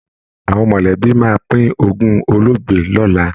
Àwọn mọ̀lẹ́bí máa pín ogún olóògbé lọ́la